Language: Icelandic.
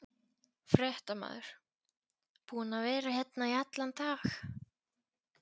Fréttamaður: Búin að vera hérna í allan dag?